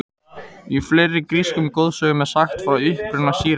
Í fleiri grískum goðsögnum er sagt frá uppruna sírenanna.